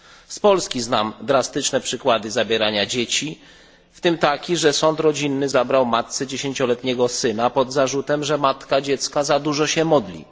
Z Polski znam drastyczne przykłady zabierania dzieci, w tym taki, że sąd rodzinny zabrał matce 10 letniego syna pod zarzutem, że matka dziecka za dużo się modli.